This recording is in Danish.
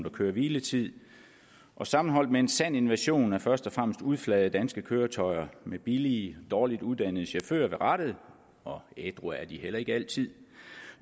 og køre og hviletid og sammenholdt med en sand invasion af først og fremmest udflagede danske køretøjer med billige og dårligt uddannede chauffører ved rattet og ædru er de heller ikke altid